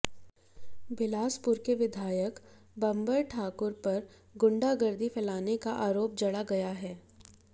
बिलासपुर के विधायक बंबर ठाकुर पर गुण्डागर्दी फैलाने का आरोप जड़ा गया है